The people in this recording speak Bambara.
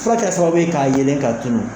Fura kɛra sababu ye k'a yeelen k'a tunun